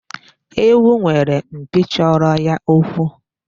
Ewu nwere mpi chọrọ ya okwu.